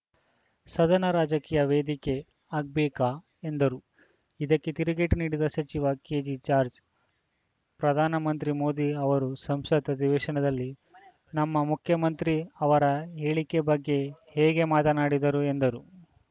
ಸದನ ರಾಜಕೀಯ ವೇದಿಕೆ ಆಗ್ಬೇಕಾ ಎಂದರು ಇದಕ್ಕೆ ತಿರುಗೇಟು ನೀಡಿದ ಸಚಿವ ಕೆಜೆಜಾರ್ಜ್ ಪ್ರಧಾನ ಮಂತ್ರಿ ಮೋದಿ ಅವರು ಸಂಸತ್‌ ಅಧಿವೇಶನದಲ್ಲಿ ನಮ್ಮ ಮುಖ್ಯಮಂತ್ರಿ ಅವರ ಹೇಳಿಕೆ ಬಗ್ಗೆ ಹೇಗೆ ಮಾತನಾಡಿದರು ಎಂದರು